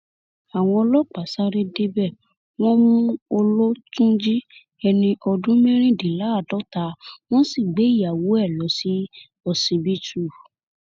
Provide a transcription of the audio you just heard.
àwọn ọlọpàá sáré débẹ wọn mú ọlọtúnjì ẹni ọdún mẹrìndínláàádọta wọn sì gbé ìyàwó ẹ lọ ṣọsibítù